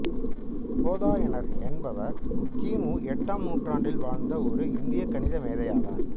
போதாயனர் என்பவர் கி மு எட்டாம் நூற்றாண்டில் வாழ்ந்த ஒரு இந்திய கணித மேதை ஆவார்